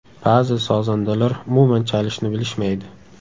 Ba’zi sozandalar umuman chalishni bilishmaydi.